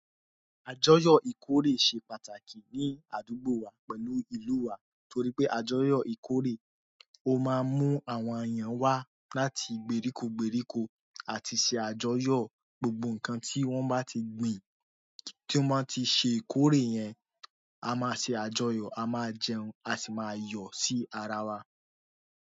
Àjọyọ̀ ìkórè ṣe pàtàkì ní àdúgbò wa pẹ̀lú ìlú wa torí pé àjọyọ̀ ìkórè, ó máa ń mú àwọn èèyàn wá láti gbèríko gbèríko àti ṣe àjọyọ̀. Gbogbo nǹkan tí wọ́n bá ti gbìn, ti tí ó máa ti ṣe ìkórè yẹn, a máa ṣe àjọyọ̀, a máa jẹun, a sì máa yọ̀ sí ara wa.